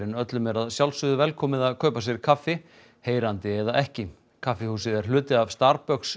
öllum er að sjálfsögðu velkomið að kaupa sér kaffi heyrandi eða ekki kaffihúsið er hluti af